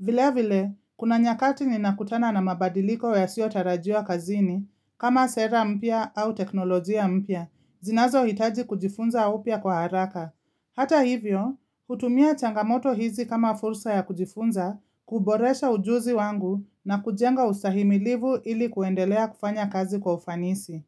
Vile vile, kuna nyakati ninakutana na mabadiliko yasiotarajiwa kazini kama sera mpya au teknolojia mpya, zinazo hitaji kujifunza upya kwa haraka. Hata hivyo, hutumia changamoto hizi kama fursa ya kujifunza, kuboresha ujuzi wangu na kujenga ustahimilivu ili kuendelea kufanya kazi kwa ufanisi.